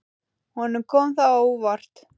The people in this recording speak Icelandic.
Honum kom það á óvart.